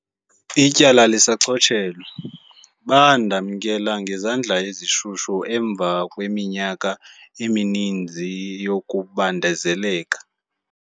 Ityala lisachotshelwe."Bandamkela ngezandla ezishushu emva kweminyaka emininzi yokubandezeleka."